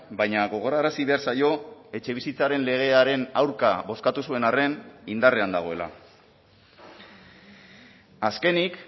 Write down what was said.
baina gogorarazi behar zaio etxebizitzaren legearen aurka bozkatu zuen arren indarrean dagoela azkenik